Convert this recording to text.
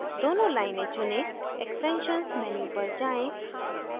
दोनों लाइनें चुनें extensions menu पर जाएँ